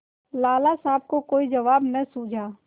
लाला साहब को कोई जवाब न सूझा